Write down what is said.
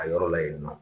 A yɔrɔ la yen nɔ